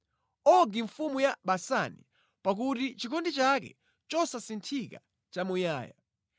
Ogi mfumu ya Basani, pakuti chikondi chake chosasinthika nʼchamuyaya.